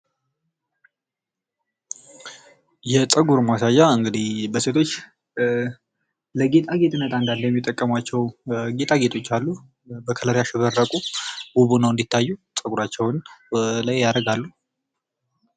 የፀጉር ማስያዣ እንግዲህ በሴቶች ለጌጣጌጥነት አንዳንድ የሚጠቀሟቸው ጌጣጌጦች አሉ ። በከለር ያሸበረቁ ውብ ሁነው እንዲታዩ ፀጉራቸውን ወደላይ ያደርጋሉ ።